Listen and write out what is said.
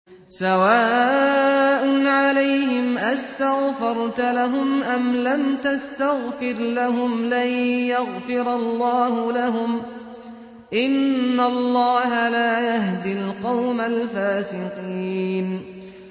سَوَاءٌ عَلَيْهِمْ أَسْتَغْفَرْتَ لَهُمْ أَمْ لَمْ تَسْتَغْفِرْ لَهُمْ لَن يَغْفِرَ اللَّهُ لَهُمْ ۚ إِنَّ اللَّهَ لَا يَهْدِي الْقَوْمَ الْفَاسِقِينَ